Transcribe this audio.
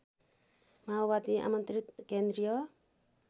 माओवादी आमन्त्रित केन्द्रीय